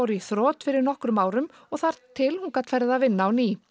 í þrot fyrir nokkrum árum og þar til hún gat farið að vinna á ný